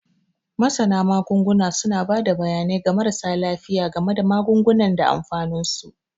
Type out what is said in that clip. Masana Magunguna suna ba da bayanai ga marasa lafiya game da magungunan da amfaninsu.